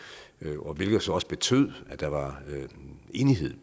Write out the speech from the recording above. hvilket jo så også betød at der var enighed